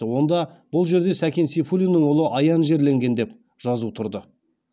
онда бұл жерде сәкен сейфуллиннің ұлы аян жерленген деп жазу тұрды